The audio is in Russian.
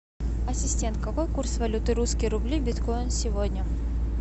ассистент какой курс валюты русские рубли биткоин сегодня